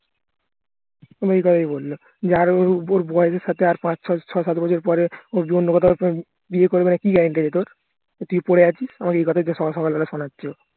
তাই বললো যে আরো ওর বয়সের সাথে আর পাঁচ ছয় ছয় সাত বছর পরে ও যে অন্য কোথাও বিয়ে করবে না কি guarantee আছে তোর তুই যে পরে আছিস আমাকে এ কথাই তো সকালবেলা শুনাচ্ছিলো